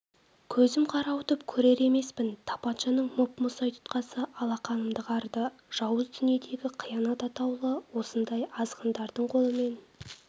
көзм қарауытып көрер емеспін тапаншаның мұп-мұздай тұтқасы алақанымды қарыды жауыз дүниедегі қиянат атаулы осындай азғындардың қолымен